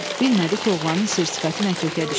Bilmədi ki, oğlanın sir-sifəti nə kökə düşdü.